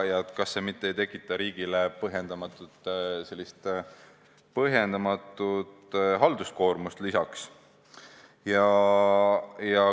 Kas see ei tekita riigile põhjendamatut halduskoormust?